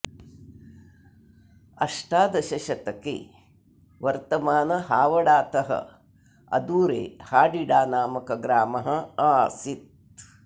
अष्टादशशतके वर्तमान हावडातः अदूरे हाडिडा नामकः ग्रामः आसीत्